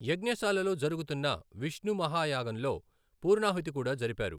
యజ్ఞశాలలో జరుగుతున్న విష్ణు మహాయాగంలో పూర్ణాహుతి కూడా జరిపారు.